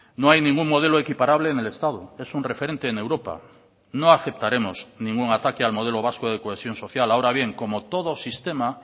no hay ningún modelo equiparable en el estado es un referente en europa no aceptaremos ningún ataque al modelo vasco de cohesión social ahora bien como todo sistema